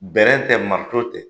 tɛ, marito tɛ.